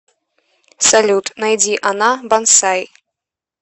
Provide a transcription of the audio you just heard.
салют найди она бонсай